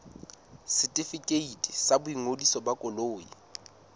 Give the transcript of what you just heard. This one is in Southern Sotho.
setefikeiti sa boingodiso ba koloi